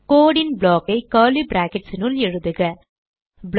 code ன் block ஐ curly brackets னுள் எழுதுக ப்ளாக்